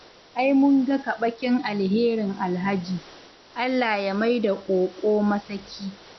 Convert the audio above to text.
Ai mun ga kaɓakin alherin Alhaji, Allah ya maida ƙoƙo masaki.